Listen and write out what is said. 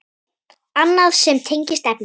Annað sem tengist efninu